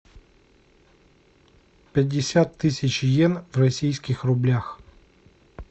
пятьдесят тысяч йен в российских рублях